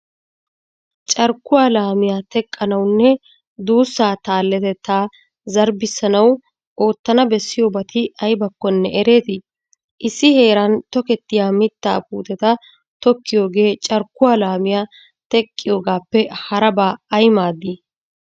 Carkkuwa laamiya teqqanawunne duussaa taalletettaa zarbbissanawu oottana bessiyobati aybakkonne ereetii? Issi heeran tokettiya mittaa puuteta Tokkiyogee carkkuwa laamiya teqqiyogaappe harabaa ay maaddii?